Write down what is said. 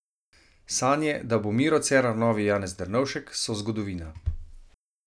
Sanje, da bo Miro Cerar novi Janez Drnovšek, so zgodovina.